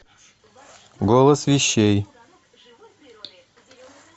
голос вещей